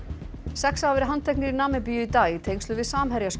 sex hafa verið handteknir í Namibíu í dag í tengslum við